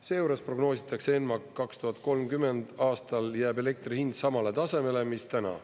Seejuures prognoositakse ENMAK-is, et 2030. aastal jääb elektri hind samale tasemele mis täna.